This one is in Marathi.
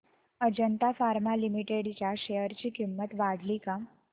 अजंता फार्मा लिमिटेड च्या शेअर ची किंमत वाढली का